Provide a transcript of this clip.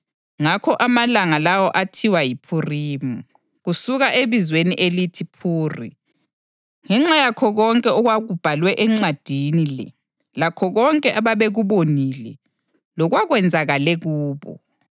(Ngakho amalanga lawo athiwa yiPhurimi, kusuka ebizweni elithi phuri.) Ngenxa yakho konke okubhalwe encwadini le lakho konke ababekubonile lokwakwenzakale kubo,